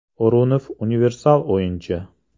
O‘runov universal o‘yinchi.